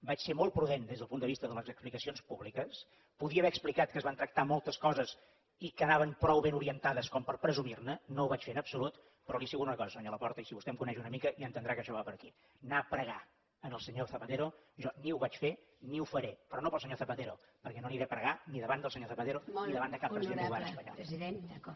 vaig ser molt prudent des del punt de vista de les explicacions públiques podia haver explicat que es van tractar moltes coses i que anaven prou ben orientades com per presumir ne no ho vaig fer en absolut però li asseguro una cosa senyor laporta i si vostè em coneix una mica ja entendrà que això va per aquí anar a pregar al senyor zapatero jo ni ho vaig fer ni ho faré però no pel senyor zapatero perquè no aniré a pregar ni davant del senyor zapatero ni davant de cap president del govern espanyol